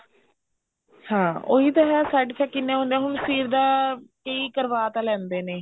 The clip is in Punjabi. ਹਾਂ ਉਹੀ ਤਾਂ ਹੈ side effect ਕਿੰਨੇ ਹੁੰਦੇ ਨੇ ਹੁਣ ਸਿਰ ਦਾ ਕਈ ਕਰਵਾ ਤਾਂ ਲੈਂਦੇ ਨੇ